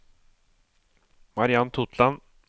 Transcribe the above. Mariann Totland